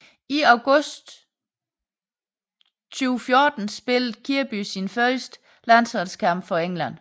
I august 2014 spillede Kirby sin første landsholdskamp for England